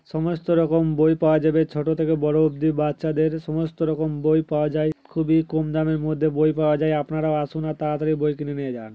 সমস্ত রকম বই পাওয়া যাবে ছোটো থেকে বড়ো অব্দি বাচ্চাদের সমস্ত রকম বই পাওয়া যায় খুবি কম দামের মধ্যে বই পাওয়া যায় আপনারাও আসুন আর তাড়াতড়ি বই কিনে নিয়ে যান।